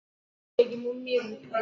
Esibeghị m mmiri